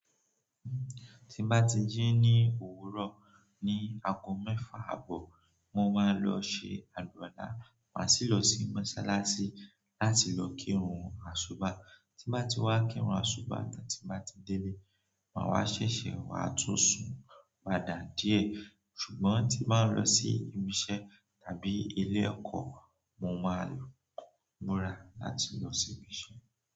Tí n bá ti jí ní òwúrọ̀ ní ago mẹ́fà àbọ̀, mo máa lọ ṣe àlúwàla, màá sì lọ sí mọ́ṣáláṣí láti lọ kírun àsúba. Tí bá ti wá kírun àsúba tán tí bá ti délé, màá wá ṣèṣè wá tú sun padà díẹ̀. Ṣùgbọ́n tí bá ń lọ sí ibi iṣẹ́ tàbí ilé ẹkọ́, mo máa lọ múra láti lọ ṣíbi iṣẹ́.